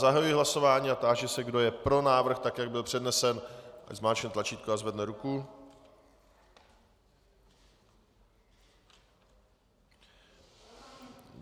Zahajuji hlasování a táži se, kdo je pro návrh, tak jak byl přednesen, ať zmáčkne tlačítko a zvedne ruku.